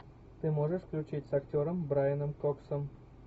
ты можешь включить с актером брайаном коксом